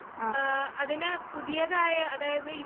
ഏഹ് അതിനെ പുതിയതായ അതായത് ഈ